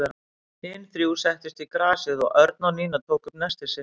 Hin þrjú settust í grasið og Örn og Nína tóku upp nestið sitt.